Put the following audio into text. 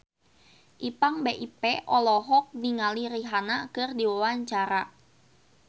Ipank BIP olohok ningali Rihanna keur diwawancara